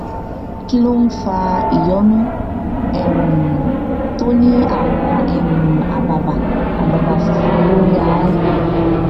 kí ló ń fa ìyọnu um tó ní àwọn um àbàbà àbàbà funfun lórí ahón